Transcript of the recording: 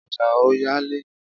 Ọjà ò yá léèní